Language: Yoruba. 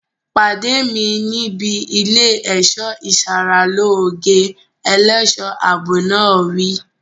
Pàdé mi níbi ilé ẹ̀ṣọ́ ìsaralóge! Ẹlẹ́ṣọ̀ ààbò náà wí.